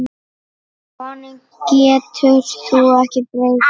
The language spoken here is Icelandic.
Honum getur þú ekki breytt.